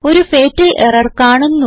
ഒരു fatal error കാണുന്നു